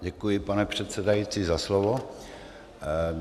Děkuji, pane předsedající, za slovo.